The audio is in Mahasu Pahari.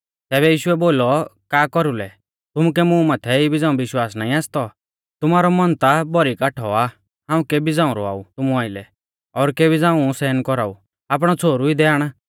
तैबै यीशुऐ बोलौ का कौरुलै तुमुकै मुं माथै इबी झ़ांऊ विश्वास नाईं आसतौ तुमारौ मन ता भौरी काठौ आ हाऊं केबी झ़ांऊ रौआऊ तुमु आइलै और केबी झ़ांऊ सहन कौराऊ आपणौ छ़ोहरु इदै आण